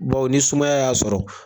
ni sumaya y'a sɔrɔ.